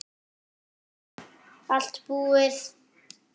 Allt búið